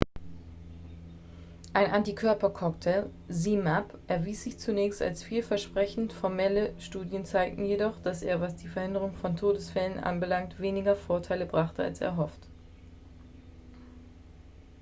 ein antikörper-cocktail zmapp erwies sich zunächst als vielversprechend formelle studien zeigten jedoch dass er was die verhinderung von todesfällen anbelangt weniger vorteile brachte als erhofft